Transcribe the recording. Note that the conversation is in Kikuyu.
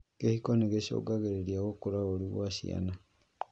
Kĩhiko nigĩcũngagĩra gũkũra ũru gwa ciana